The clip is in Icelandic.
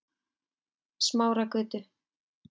Smáragötu